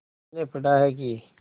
मैंने पढ़ा है कि